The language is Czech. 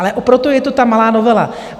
Ale proto je to ta malá novela.